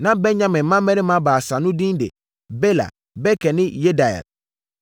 Na Benyamin mmammarima baasa no din de: Bela, Beker ne Yediael.